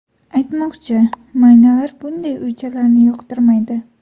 Aytmoqchi, maynalar bunday uychalarni yoqtirmaydi.